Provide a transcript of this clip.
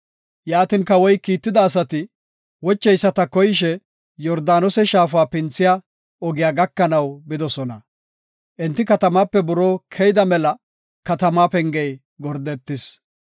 Yaatin, kawoy kiitida asati wocheyisata koyishe, Yordaanose Shaafa pinthiya ogiya gakanaw bidosona. Enti katamaape buroo keyida mela katama pengey gordetis.